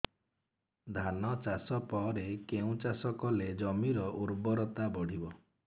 ଧାନ ଚାଷ ପରେ କେଉଁ ଚାଷ କଲେ ଜମିର ଉର୍ବରତା ବଢିବ